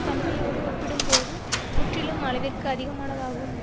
தன்மையோடு ஒப்பிடும்போது முற்றிலும் அளவிற்கு அதிகமானதாகும்